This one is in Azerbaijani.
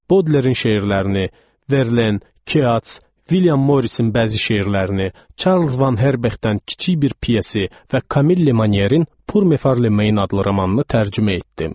Bodlerin şeirlərini, Verlen, Keats, William Morrisin bəzi şeirlərini, Charles Van Herbexdən kiçik bir piyesi və Camille Manierin Purme Farlemein adlı romanını tərcümə etdim.